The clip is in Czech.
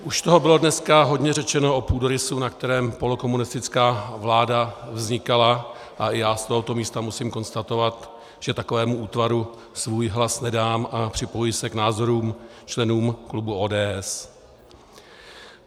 Už toho bylo dneska hodně řečeno o půdorysu, na kterém polokomunistická vláda vznikala, a i já z tohoto místa musím konstatovat, že takovému útvaru svůj hlas nedám, a připojuji se k názorům členů klubu ODS.